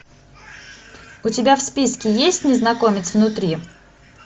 у тебя в списке есть незнакомец внутри